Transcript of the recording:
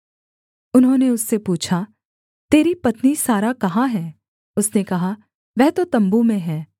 उन्होंने उससे पूछा तेरी पत्नी सारा कहाँ है उसने कहा वह तो तम्बू में है